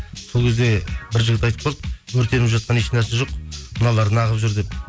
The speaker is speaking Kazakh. сол кезде бір жігіт айтып қалды өртеніп жатқан ешнәрсе жоқ мыналар неғып жүр деп